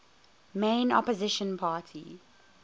main opposition party